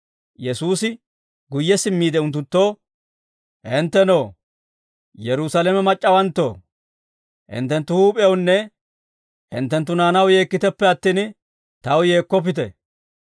Yesuusi guyye simmiide unttunttoo, «Hinttenoo, Yerusaalame mac'c'awanttoo, hinttenttu huup'ewunne hinttenttu naanaw yeekkiteppe attin, taw yeekkoppite;